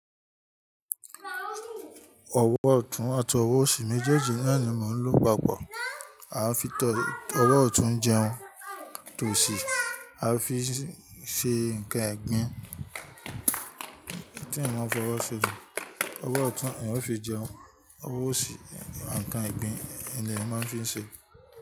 Ọ̀wọ̀ ọ̀tún àti ọ̀wọ̀ òsì méjèèjì náà ni mò ń lò papọ̀. A fi tọ ọ̀wọ̀ ọ̀tún jẹun, tòsì a fi ṣe nǹkan ìgbín. Kíni wọ́n fi ọ̀wọ̀ ṣe? Ọ̀wọ̀ ọ̀tún ni wọ́n fi jẹun. Ọ̀wọ̀ òsì nǹkan ìgbín ni wọ́n fi ń ṣe.